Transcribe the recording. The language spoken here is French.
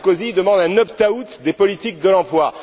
Sarkozy demande un opt out des politiques de l'emploi.